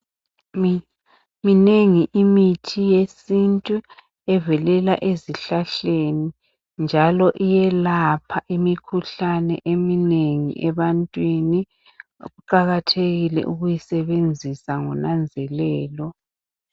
Minengi imithi yesintu evelela ezihlahleni njalo iyelapha imikhuhlane eminengi ebantwini kuqakathekile ukuyisebenzisa ngonanzelelo